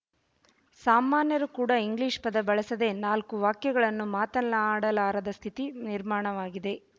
ಸಾಮಾನ್ಯರು ಕೂಡಾ ಇಂಗ್ಲೀಷ್ ಪದ ಬಳಸದೆ ನಾಲ್ಕು ವಾಕ್ಯಗಳನ್ನು ಮಾತಲ್ಲಾಡಲಾರದ ಸ್ಥಿತಿ ನಿರ್ಮಾಣವಾಗಿದೆ